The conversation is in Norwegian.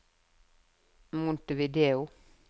Montevideo